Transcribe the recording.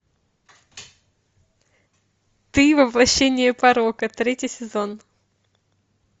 ты воплощение порока третий сезон